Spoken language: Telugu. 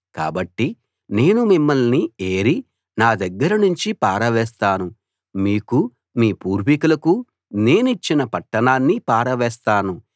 కాబట్టి నేను మిమ్మల్ని ఏరి నా దగ్గర నుంచి పారవేస్తాను మీకూ మీ పూర్వీకులకూ నేనిచ్చిన పట్టణాన్నీ పారవేస్తాను